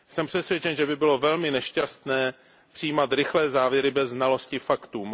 Jsem přesvědčen, že by bylo velmi nešťastné přijímat rychlé závěry bez znalosti faktů.